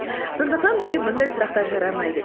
сондықтан бізге бұндай сұрақтар жарамайды